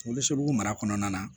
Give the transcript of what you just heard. Wolonugu mara kɔnɔna na